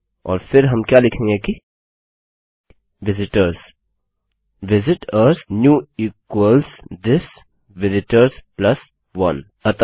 और फिर हम क्या लिखेंगे कि विजिटर्स visit ओआरएस new equals this visitors plus 1